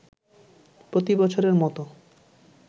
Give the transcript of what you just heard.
প্রতিবছরের মত